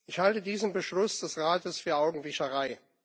Ich halte diesen Beschluss des Rates für Augenwischerei.